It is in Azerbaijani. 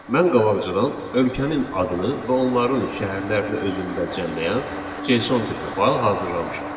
Mən qabaqcadan ölkənin adını və onların şəhərlərini özündə cəmləyən JSON tipli fayl hazırlamışam.